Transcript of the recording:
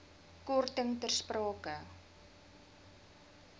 korting ter sprake